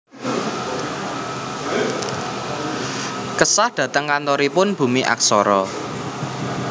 Kesah dateng kantoripun Bumi Aksara